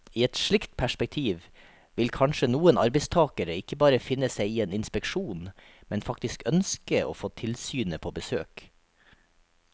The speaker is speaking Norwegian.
I et slikt perspektiv vil kanskje noen arbeidstagere ikke bare finne seg i en inspeksjon, men faktisk ønske å få tilsynet på besøk.